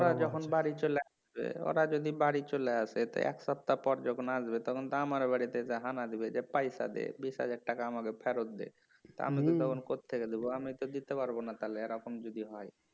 ওরা যখন বাড়ি চলে আসবে যদি বাড়ি চলে আসে এসে এক সপ্তাহ পর যখন আসবে তখন তো আমার বাড়িতে হানা দিবে যে পয়সা দে বিশ হাজার টাকা আমাকে ফেরত দে তা আমি তখন কত্থেকে দেব আমি তো দিতে পারবনা তাহলে এরকম যদি হয়